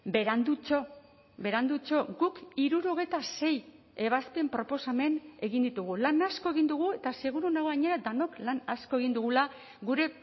berandutxo berandutxo guk hirurogeita sei ebazpen proposamen egin ditugu lan asko egin dugu eta seguru nago gainera denok lan asko egin dugula gure